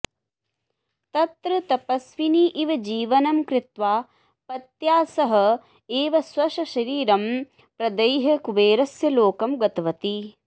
तत्र तपस्विनी इव जीवनं कृत्वा पत्या सह एव स्वस्य शरीरं प्रदह्य कुबेरस्य लोकं गतवती